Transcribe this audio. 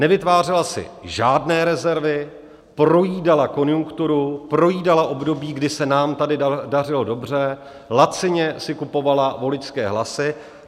Nevytvářela si žádné rezervy, projídala konjunkturu, projídala období, kdy se nám tady dařilo dobře, lacině si kupovala voličské hlasy.